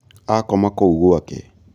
akoma kũu gwake